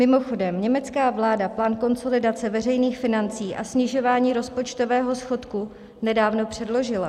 Mimochodem, německá vláda plán konsolidace veřejných financí a snižování rozpočtového schodku nedávno předložila.